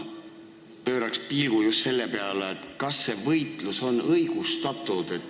Ma pööran pilgu just selle peale, kas see võitlus on õigustatud.